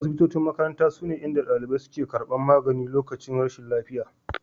Asibitocin makaranta sune inda dalibai suke karbar magani lokacin rashin lafiya